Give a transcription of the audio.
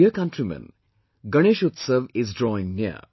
My dear countrymen, Ganesh Utsav is drawing near